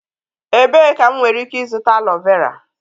Ebee ka m nwere ike ịzụta aloe vera?